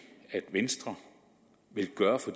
venstre vil gøre for